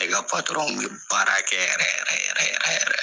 Ne ka kun be baara kɛ yɛrɛ yɛrɛ yɛrɛ yɛrɛ yɛrɛ.